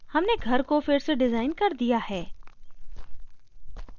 हमने घर को फिर से डिज़ाइन कर दिया है